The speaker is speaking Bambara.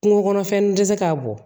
Kungo kɔnɔfɛn tɛ se k'a bɔ